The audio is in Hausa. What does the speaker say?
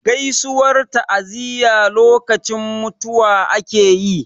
Gaisuwar ta'aziyya lokacin mutuwa ake yi.